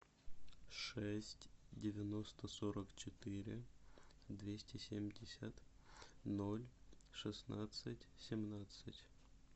шесть девяносто сорок четыре двести семьдесят ноль шестнадцать семнадцать